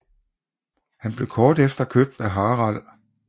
Han blev kort efter købt af Harald